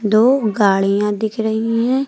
दो गाड़ियां दिख रही है।